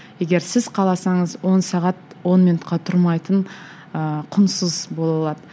егер сіз қаласаңыз он сағат он минутқа тұрмайтын ыыы құнсыз бола алады